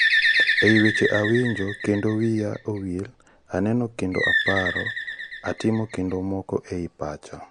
Ei weche Confucius."awinjo kendo wiya owil. aneno kendo aparo. atimo kendo moko ei pacha